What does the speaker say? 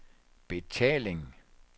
betaling